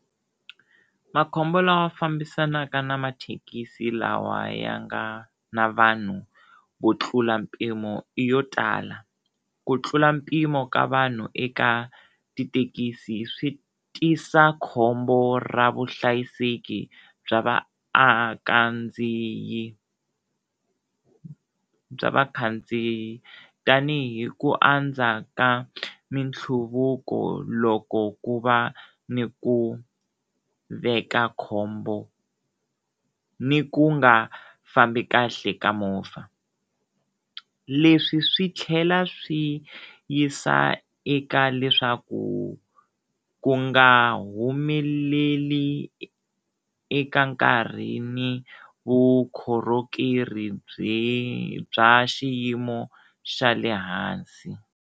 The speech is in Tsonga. Makhombo lama fambisanaka na mathekisi lawa ya nga na vanhu vo tlula mpimo i yo tala, ku tlula mpimo ka vanhu eka tithekisi swi tisa khombo ra vuhlayiseki bya vaakandziyi bya va khandziyi tanihi ku andza ka mintlhuvuko loko ku va ni ku veka khombo ni ku nga fambi kahle ka movha, leswi swi tlhela swi yisa eka leswaku ku nga humeleli eka nkarhini vukhorhokeri bye bya xiyimo xa le hansi.